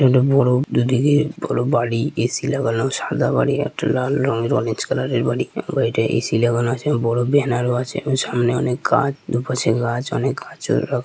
একটা বড়ো দুদিকে বড়ো বাড়ি এ.সি লাগানো সাদা বাড়ি | একটা লাল রঙের অরেঞ্জ কালারের বাড়ি এবং বাড়িটাই এ.সি লাগানো আছে | এবং বড়ো ব্যানারও আছে সামনে অনেক গাছ | দুপাশে গাছ অনেক গাছও রাখ --